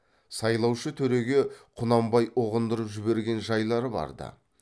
сайлаушы төреге құнанбай ұғындырып жіберген жайлар барда